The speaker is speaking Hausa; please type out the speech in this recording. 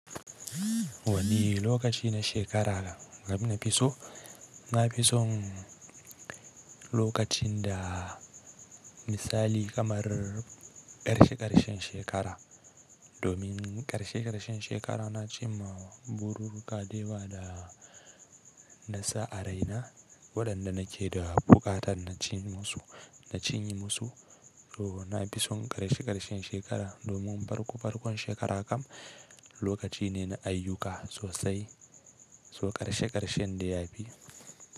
Wani lokaci na shekara nafi so? Na fi son lokacin da misali kamar ƙarshe ƙarshen shekara, domin ƙarshe ƙarshen shekara na ci ma bururruka dayawa da nasa a raina waɗanda nake da buƙatar na cin musu, na cinye musu. To na fi son ƙarshe ƙarshen shekara domin farko farkon shekara kam lokaci ne na ayyuka sosai, so ƙarshe ƙarshen dai ya fi.